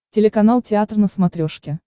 телеканал театр на смотрешке